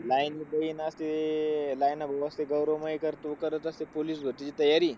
Line देई ना ते, line up मध्ये असतो गौरव मयेकर, तो करत असतो पोलीस भरतीची तयारी.